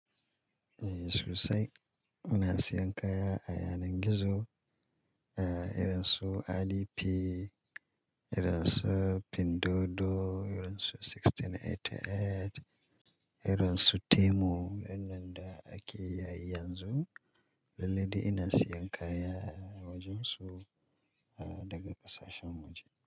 Eh sosai. Ina siyan kaya a yanar gizo, eh irin su IDP, irin su Pindodo, irin su 1688, irin su Temu. Waɗannan da ake yayi yanzu. Lalle dai ina siyan kaya a wajen su daga ƙasashen waje.